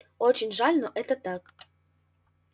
очень жаль но это так